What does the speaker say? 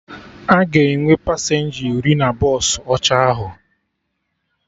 Aga enwe pasenja iri na bọsụ ọcha ahụ